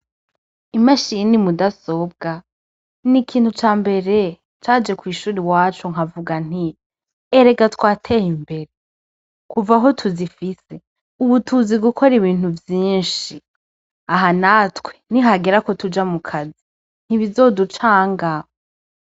Imashini mudasobwa n' ikintu cambere caje kwishuri iwacu nkavuga nti : erega twateye imbere kuva aho tuzifise ubu tuzi gukora ibintu vyinshi aha natwe nihagera ko tuja mukazi ntibizoducanga.